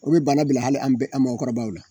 O bɛ banna bila hali an bɛ an mɔgɔkɔrɔbaw la.